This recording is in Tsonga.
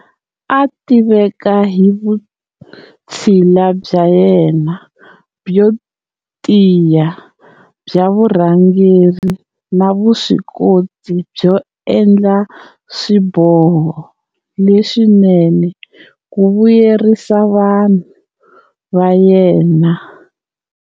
A tiveka hi vutshila bya yena byo tiya bya vurhangeri na vuswikoti byo endla swiboho leswinene ku vuyerisa vanhu va yena.